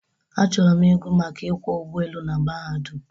Achọrọ ịgụ maka ịkwọ ụgbọelu na mahadum.